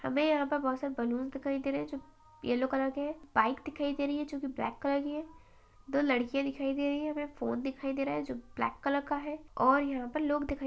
हमे यहां पर बोहोत सारे बलूंस दिखाई दे रहे हैं जो येलो कलर के हैं। बाइक दिखाई दे रही है जो कि ब्लैक कलर की है। दो लड़कियां दिखाई दे रही है। हमें एक फोन दिखाई दे रहा है जो ब्लैक कलर का है और यहां पर लोग दिखाई --